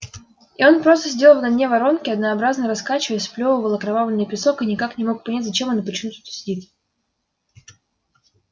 и он просто сидел на дне воронки однообразно раскачиваясь сплёвывал окровавленный песок и никак не мог понять зачем и почему он тут сидит